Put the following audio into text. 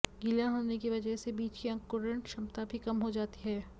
गीला होने की वजह से बीज की अंकुरण क्षमता भी कम हो जाती है